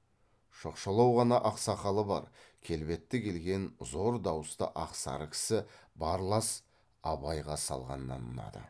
шоқшалау ғана ақ сақалы бар келбетті келген зор дауысты ақ сары кісі барлас абайға салғаннан ұнады